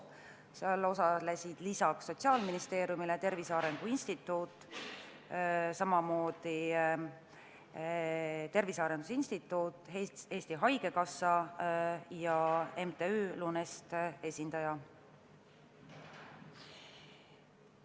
Seal osalesid lisaks Sotsiaalministeeriumi esindajatele Tervise Arengu Instituudi, Eesti Haigekassa ja MTÜ Lunest esindajad.